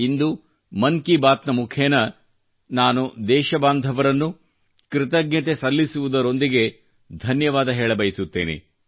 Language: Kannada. ಇಂದು ಮನ್ಕಿ ಬಾತ್ ನ ಮುಖೇನ ನಾನು ದೇಶಬಾಂಧವರನ್ನು ಕೃತಜ್ಞತೆ ಸಲ್ಲಿಸುವುದರೊಂದಿಗೆ ಧನ್ಯವಾದ ಹೇಳಬಯಸುತ್ತೇನೆ